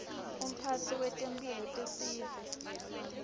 umphatsi wetemphilo tesive